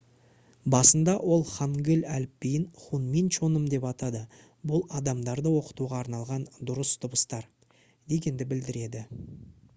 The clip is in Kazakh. басында ол хангыль әліпбиін хунмин чоным деп атады бұл «адамдарды оқытуға арналған дұрыс дыбыстар» дегенді білдіреді